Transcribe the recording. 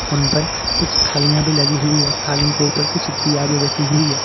उन पर कुछ थालियां भी लगी हुई है थाली के ऊपर कुछ दीयां भी रखी हुई है।